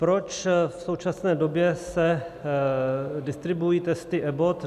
Proč v současné době se distribuují testy Abbott?